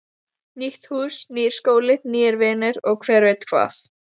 Nýtt hús, nýr skóli, nýir vinir og hver veit hvað.